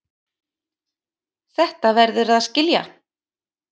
Þetta verðurðu að skilja.